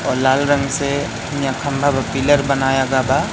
और लाल रंग से यहा खम्भा ब पिलर बनाया गय बा--